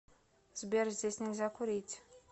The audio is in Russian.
сбер здесь нельзя курить